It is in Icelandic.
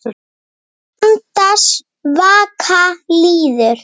Andans vaka líður.